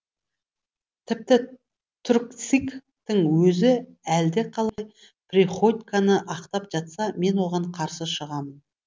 тіпті түркцик тің өзі әлдеқалай приходьконы ақтап жатса мен оған қарсы шығам